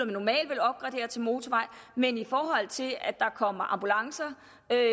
at til motorvej men i forhold til at der kommer ambulancer